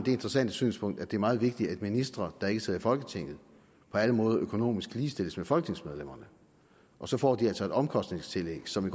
interessante synspunkt at det er meget vigtigt at ministre der ikke sidder i folketinget på alle måder økonomisk ligestilles med folketingsmedlemmerne og så får de altså et omkostningstillæg som